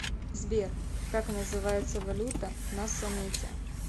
сбер как называется валюта на самете